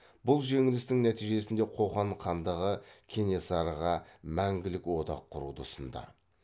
бұл жеңілістің нәтижесінде қоқан хандығы кенесарыға мәңгілік одақ құруды ұсынды